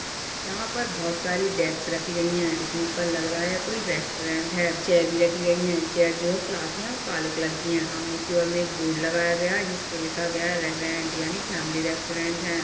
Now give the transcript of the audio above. यहाँ पर बहोत सारे डेस्क रखी गई है देखने पर लग रहा है यह कोई रेस्टोरेंट है चेयर भी रखी गई है चेयर जो है प्लास्टिक की है और काले कलर की है सामने की ओर में एक बोर्ड लगाया गया है जिसपे लिखा गया है रेस्टोरेंट यानी फैमिली रेस्टोरेंट है।